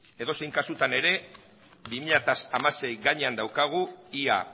edozein kasutan ere bi mila hamasei gainean daukagu ea